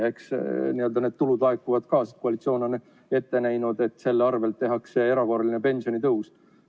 Eks need tulud laekuvad ka, koalitsioon on ette näinud, et nende varal tehakse erakorraline pensionitõus.